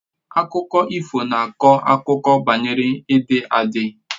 Akụkọ ifo na akọ akụkọ banyere ịdị adi